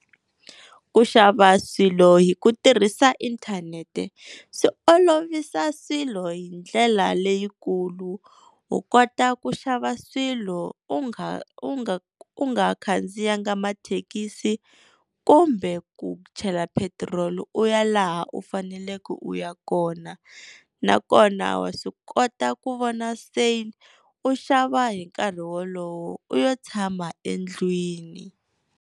Ku xava swilo hi ku tirhisa inthanete swi olovisa swilo hi ndlela leyikulu, u kota ku xava swilo u nga u nga u nga khandziyanga mathekisi kumbe ku chela petiroli u ya laha u faneleke u ya kona nakona wa swi kota ku vona sale u xava hi nkarhi wolowo u yo tshama endlwini.